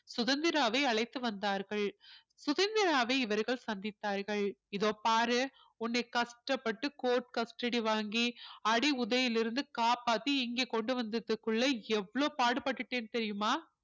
சுதந்திராவை அழைத்து வந்தார்கள் சுதந்திராவை இவர்கள் சந்தித்தார்கள் இதோ பாரு உன்னை கஷ்டப்பட்டு court custody வாங்கி அடி உதையிலிருந்து காப்பாத்தி இங்கே கொண்டு வந்ததுக்குள்ள எவ்வளவு பாடுபட்டுட்டேன் தெரியுமா